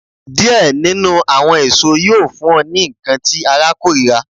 Diẹ ninu awọn eso yoo fun ọ ni nkan ti ara korira